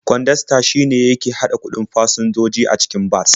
Kwandasta shine yake haɗa kuɗin fasinjoji a cikin bas.